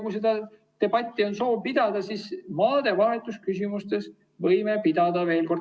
Kui on soov debatti pidada, siis maadevahetuse küsimustes võime pidada seda veel kord.